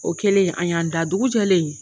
O kɛlen an y'an da, dugu jɔlen